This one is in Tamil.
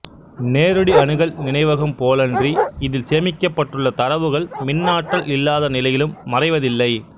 நேரடி அணுகல் நினைவகம் போலன்றி இதில் சேமிக்கப்பட்டுள்ள தரவுகள் மின்னாற்றல் இல்லாதநிலையிலும் மறைவதில்லை